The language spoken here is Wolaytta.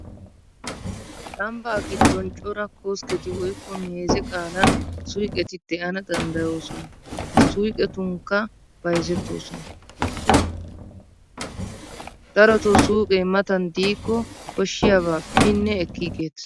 Ambbaa giddon cora koskketi woykko meeze qaalan suyqeti de'ana danddayoosona. Ha suuqetonkka bayzettoosona. Darotoo suuqee matan diikko koshshiyabaa binne ekkiigeettees.